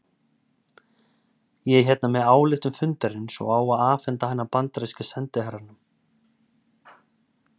Ég er hérna með ályktun fundarins og á að afhenda hana bandaríska sendiherranum